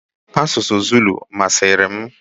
Asụsụ Zulu masịrị m.